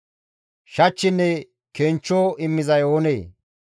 Shachchinne kenchcho immizay oonee?